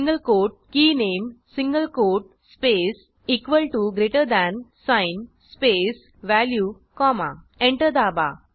single quote के नामे single quote space equal to greater than sign space value comma enter दाबा